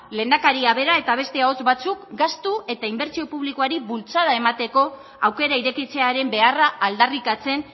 lehendakaria bera eta beste ahots batzuk gastu eta inbertsio publikoari bultzada emateko aukera irekitzearen beharra aldarrikatzen